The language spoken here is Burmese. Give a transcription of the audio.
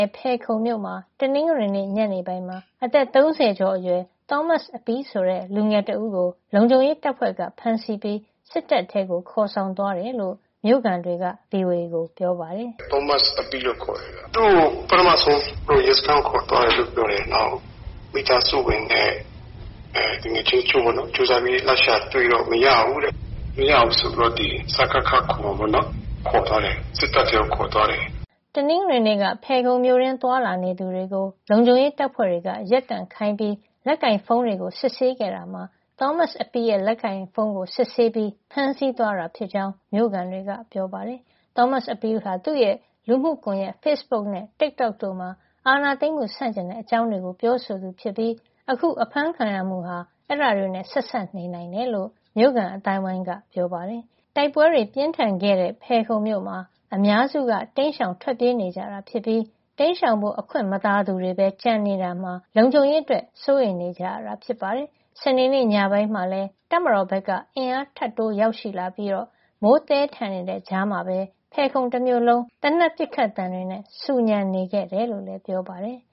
ယ်ခုံမြို့မှာ တနင်္ဂနွေနေ့ ညနေပိုင်းမှာ အသက် ၃၀ ကျော်အရွယ် သောမတ်အပီးဆိုတဲ့ လူငယ်တဦးကို လုံခြုံရေးတပ်ဖွဲ့က ဖမ်းဆီးပြီး စစ်တပ်ထဲကို ခေါ်ဆောင်သွားကြောင်း မြို့ခံတွေက ဗွီအိုအေကို ပြောပါတယ်။ “သောမတ်အပီးလို့ ခေါ်တယ်။ သူ့ကို ပထမဆုံး ရဲစခန်းကို ခေါ်သွားတယ် ပြောတယ်။ နောက် မိသားစုဝင်တချို့နဲ့ သူငယ်ချင်းတွေက လိုက်ရှာပြီး တွေ့တော့ မရဘူးတဲ့။ မရဘူးဆိုပြီးတော့ ဒီ စကခ ခေါ်မှာပေါ့နော်။ စစ်တပ်ထဲကို ခေါ်သွားတယ်။” တနင်္ဂနွေနေ့က ဖယ်ခုံမြို့တွင်း သွားလာနေသူတွေကို လုံခြုံရေးတပ်ဖွဲ့တွေက ရပ်တန့်ခိုင်းပြီး လက်ကိုင်ဖုန်းတွေကို စစ်ဆေးခဲ့တာမှာ သောမတ်အပီးရဲ့ လက်ကိုင်ဖုန်းကို စစ်ဆေးပြီး ဖမ်းဆီးသွားတာဖြစ်ကြောင်း မြို့ခံတွေက ပြောပါတယ်။ သောမတ်အပီးဟာ သူ့ရဲ့ လူမှုကွန်ရက် Facebook နဲ့ Tik Tok တို့မှာ အာဏာသိမ်းမှု ဆန့်ကျင်တဲ့ အကြောင်းတွေ ပြောဆိုသူဖြစ်ပြီး အခုဖမ်းခံရမှုဟာ အဲဒါတွေနဲ့ ဆက်စပ်နိုင်တယ်လို့လည်း မြို့ခံအသိုင်းအဝိုင်းက ပြောပါတယ်။ တိုက်ပွဲတွေ ပြင်းထန်ခဲ့တဲ့ ဖယ်ခုံမြို့မှာ အများစုက တိမ်းရှောင် ထွက်ပြေးနေကြပြီး တိမ်းရှောင်ဖို့ အခွင့်မသာသူတွေဘဲ ကျန်ရှိနေတာမှာ လုံခြုံရေးအတွက် စိုးရိမ်နေကြရတာပါ။ စနေနေ့ညပိုင်းမှာလည်း တပ်မတော်ဘက်က အင်အားထပ်တိုး ရောက်ရှိလာပြီး မိုးသည်းထန်နေတဲ့ ကြားထဲမှာပဲ ဖယ်ခုံတမြို့လုံး သေနတ်ပစ်ခတ်သံတွေ ဆူညံနေခဲ့တယ်လို့လည်း ပြောပါတယ်။